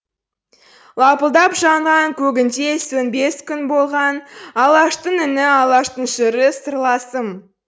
лапылдап жанған көгінде сөнбес күн болған алаштың үні алаштың жыры сырласым